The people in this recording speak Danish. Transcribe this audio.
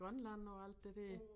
Grønland og alt det der